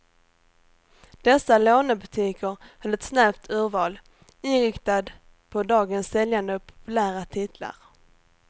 Dessa lånebutiker höll ett snävt urval, inriktad på dagens säljande och populära titlar.